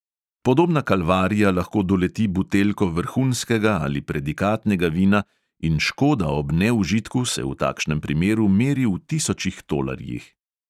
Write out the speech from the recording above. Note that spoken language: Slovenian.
Podobna kalvarija lahko doleti buteljko vrhunskega ali predikatnega vina in škoda ob neužitku se v takšnem primeru meri v tisočih tolarjih.